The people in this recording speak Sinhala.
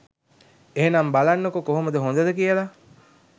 එහෙනම් බලන්නකො කොහොමද හොඳද කියලා.